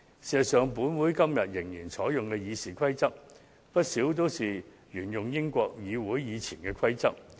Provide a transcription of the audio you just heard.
事實上，本會今天仍然採用的《議事規則》，不少也是沿用英國國會以前的規則。